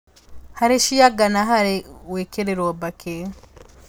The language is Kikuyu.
Harĩ cia nga na harĩ gũĩkĩrĩrũo mbakĩ